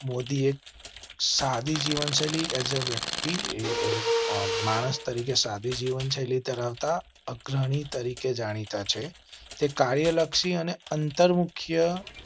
મોદીએ શાદી જીવન શૈલી વ્યક્તિ માણસ તરીકે સાદી જીવનશૈલી ધરાવતા અગ્રણી તરીકે જાણીતા છે. તે કાર્ય લક્ષી અને અંતર મુખ્ય.